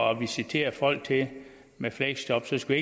at visitere folk til med fleksjob skal